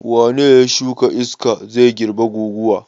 Wane ne ya shuka iska zai girbe guguwa?